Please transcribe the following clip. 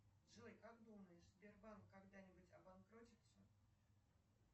джой как думаешь сбербанк когда нибудь обанкротится